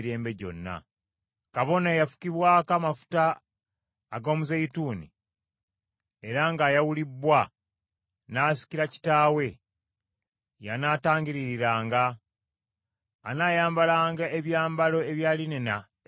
Kabona eyafukibwako amafuta ag’omuzeeyituuni era ng’ayawulibbwa n’asikira kitaawe, y’anaatangiririranga. Anaayambalanga ebyambalo ebya linena ebitukuvu,